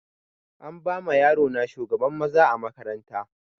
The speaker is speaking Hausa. An bama yaro na shugaban maza a makaranta